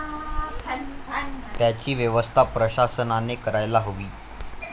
त्यांची व्यवस्था प्रशासनाने करायला हवी.